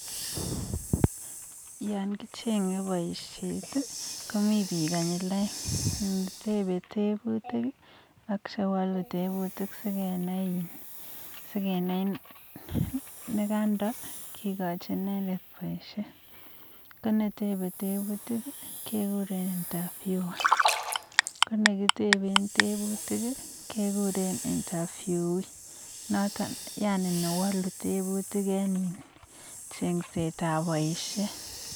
yaaan kichengee poisheet komitei piik konyil aeek konetebe tebutik kekuren (interviewer) konewaluu teputik kekureen (inteviewee)